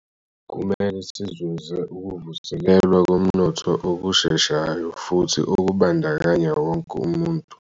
Kumele sizuze ukuvuselelwa komnotho okusheshayo futhi okubandakanya wonke umuntu.